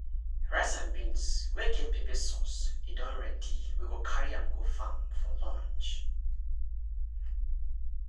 rice and beans wey get pepper sauce e don ready we go carry am go farm for lunch.